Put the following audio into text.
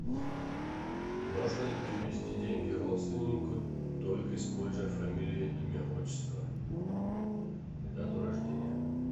можно ли перевести деньги родственнику только используя фамилию имя отчество и дату рождения